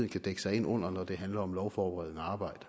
kan dække sig ind under når det handler om lovforberedende arbejde